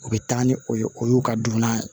U bɛ taa ni o ye o y'u ka dumunian ye